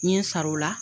N ye n sara o la